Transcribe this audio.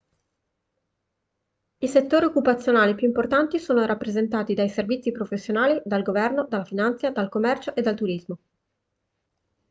i settori occupazionali più importanti sono rappresentati dai servizi professionali dal governo dalla finanza dal commercio e dal turismo